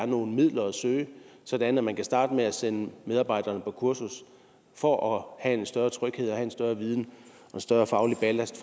nogle midler at søge sådan at man kunne starte med at sende medarbejderne på kursus for at få en større tryghed og en større viden og en større faglig ballast